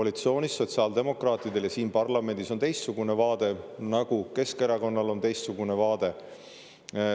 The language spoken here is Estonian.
Sotsiaaldemokraatidel on koalitsioonis ja siin parlamendis teistsugune vaade, nagu ka Keskerakonnal on teistsugune vaade.